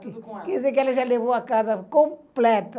Tudo com ela. Quer dizer que ela já levou a casa completa.